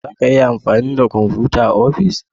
Za ka iya amfani da kwamfuta a ofis?